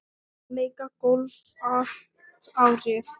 Að leika golf allt árið.